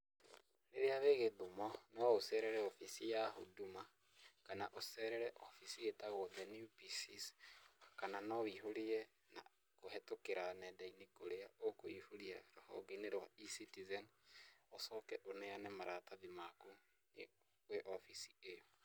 Rĩrĩa wĩ Gĩthumo, no ũcerere obici ya Huduma kana ũcerere obici ĩtagwo the new PCs, kana no na ũihũrie kũhĩtũkĩra nenda-inĩ kũrĩa ũkũihũria rũhenge-inĩ rwa e-Citizen , ũcoke ũneane maratathi maku wĩ obici ĩyo.